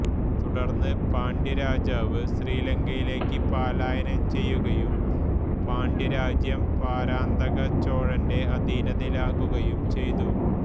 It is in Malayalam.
തുടർന്ന് പാണ്ഡ്യരാജാവ് ശ്രീലങ്കയിലേക്ക് പലായനം ചെയ്യുകയും പാണ്ഡ്യരാജ്യം പരാന്തകചോഴന്റെ അധീനതയിലാകുകയും ചെയ്തു